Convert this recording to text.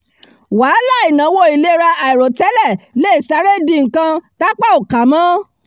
wàhálà ìnáwó ìlera àìròtẹ́lẹ̀ le è sáré di nǹkan tápá ò ká mọ́